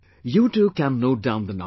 You too can note down the number